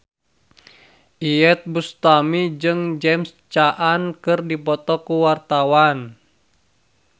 Iyeth Bustami jeung James Caan keur dipoto ku wartawan